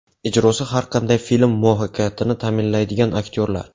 Ijrosi har qanday film muvaffaqiyatini ta’minlaydigan aktyorlar.